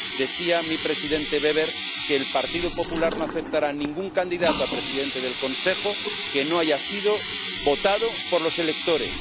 Decía mi presidente Weber que el Partido Popular no aceptará ningún candidato a presidente de la Comisión que no haya sido votado por los electores.